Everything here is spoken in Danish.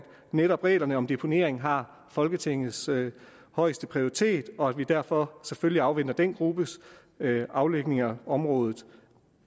netop reglerne om deponering har folketingets højeste prioritet og at vi derfor selvfølgelig afventer den gruppes afdækning af området